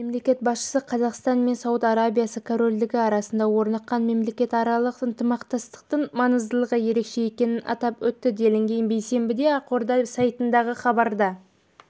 мемлекет басшысы қазақстан мен сауд арабиясы корольдігі арасында орныққан мемлекетаралық ынтымақтастықтың маңыздылығы ерекше екенін атап өтті делінген бейсенбіде ақорда сайтындағы хабарда